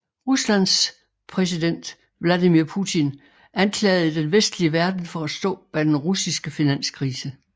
Rusland præsiden Vladimir Putin anklagede den vestlige verden for at stå bag den russiske finanskrise